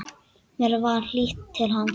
Mér var hlýtt til hans.